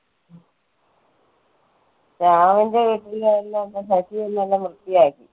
ശ്യാമളന്റെ വീട്ടിലെല്ലാം അജിയെല്ലാം വന്ന് വൃത്തിയാക്കി.